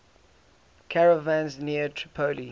caravans near tripoli